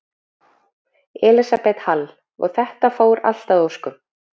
Elísabet Hall: Og þetta fór allt að óskum?